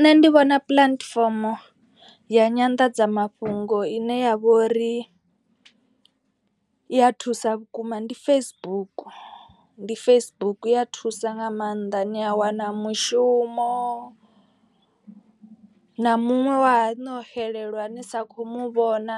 Nṋe ndi vhona puḽatifomo ya nyanḓadzamafhungo ine ya vhori i ya thusa vhukuma ndi Facebook. Ndi Facebook ya thusa nga maanḓa ni a wana mushumo na muṅwe wa haṋu no xelelwa ni sa kho muvhona.